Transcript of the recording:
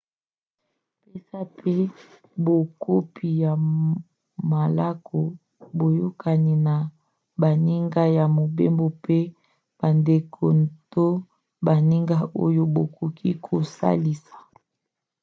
pesa mpe bakopi ya malako/boyokani na baninga ya mobembo mpe bandeko to baninga oyo bakoki kosalisa